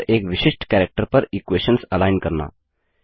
और एक विशिष्ट कैरेक्टर पर इक्वेशंस अलाइन करना